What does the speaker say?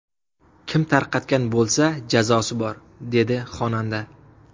Kim tarqatgan bo‘lsa jazosi bor”, dedi xonanda.